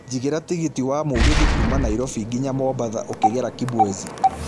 jigĩra tigiti wa mũgithi kuuma Nairobi nginya mombatha ukigera kibwezi